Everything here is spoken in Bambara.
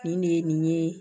Nin de ye nin ye